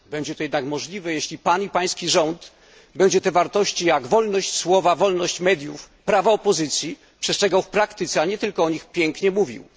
Będzie to jednak możliwe, jeśli Pan i Pański rząd będzie tych wartości, takich jak wolność słowa, wolność mediów, prawa opozycji, przestrzegał w praktyce, a nie tylko o nich pięknie mówił.